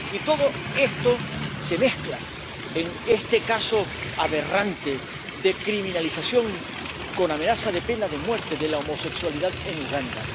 Y todo esto se mezcla en este caso aberrante de criminalización —con amenaza de pena de muerte— de la homosexualidad en Uganda.